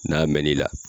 N'a mɛn n'i la